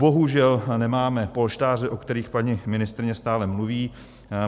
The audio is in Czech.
Bohužel nemáme polštáře, o kterých paní ministryně stále mluví.